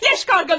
Gecə qarğaları!